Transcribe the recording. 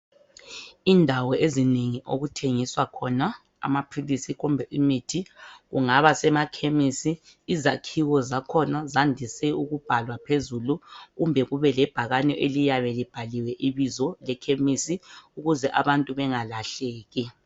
Indawo ezinengi okuthengiswa khona amaphilisi kumbe imithi kungaba sema khemisi izakhiwo zakhona zandise ukubhalwa phezulu kumbe kube lebhakani eliyabe libhaliwe ibizo le khemisi ukuze abantu bengalahleki.